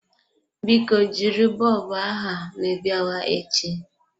Biko jiri bọlbụ aha ma ị biawa echi.